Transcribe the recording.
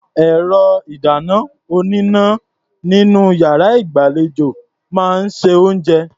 Ẹ̀rọ-ìdáná-oníná nínú iyàrá ìgbàlejò máa ń se oúnjẹ.